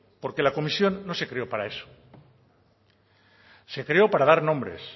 porque la comisión no se creó para eso se creó para dar nombres